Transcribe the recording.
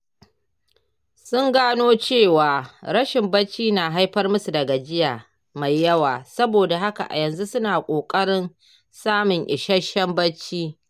Sun gano cewa rashin bacci na haifar musu da gajiya mai yawa saboda haka a yanzu suna ƙoƙarin samun isasshen bacci.